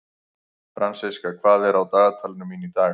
Fransiska, hvað er á dagatalinu mínu í dag?